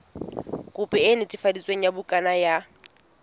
khopi e netefaditsweng ya bukana